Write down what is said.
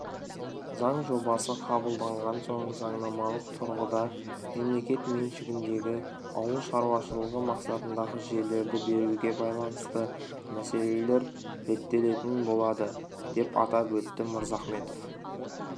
заң жобасы қабылданған соң заңнамалық тұрғыда мемлекет меншігіндегі ауыл шаруашылығы мақсатындағы жерлерді беруге байланысты мәселелер реттелетін болады деп атап өтті мырзахметов